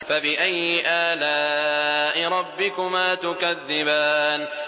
فَبِأَيِّ آلَاءِ رَبِّكُمَا تُكَذِّبَانِ